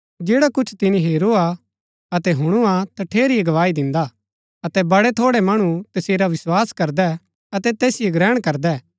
जैडा कुछ तिनी हेरूआ अतै हूणुआ तठेरी ही गवाही दिन्दा अतै बडै थोड़ै मणु तसेरा विस्वास करदै अतै तैसिओ ग्रहण करदै